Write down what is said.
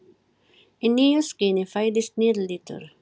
Í nýju skini fæðist nýr litur.